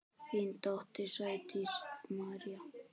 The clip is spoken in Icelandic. Þín dóttir, Sædís María.